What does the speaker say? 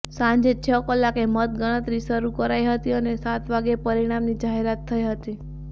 સાંજે છ કલાકે મતગણતરી શરૂ કરાઈ હતી અને સાત વાગ્યે પરિણામની જાહેરાત થઈ હતી